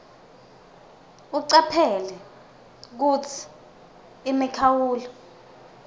ucaphele kutsi imikhawulo